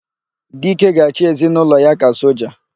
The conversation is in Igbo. Dike ga-achị ezinaụlọ ya ka soja.